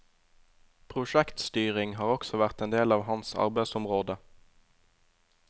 Prosjektstyring har også vært en del av hans arbeidsområde.